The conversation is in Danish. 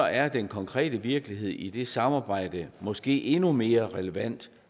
er den konkrete virkelighed i det samarbejde måske endnu mere relevant